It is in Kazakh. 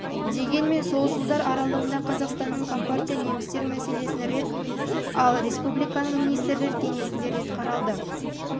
дегенмен жылдар аралығында қазақстанның компартия немістер мәселесін рет ал республиканың министрлер кеңесінде рет қаралды